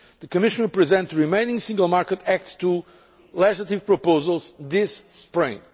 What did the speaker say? The Commission will present the remaining Single Market Act 2 legislative proposals this spring.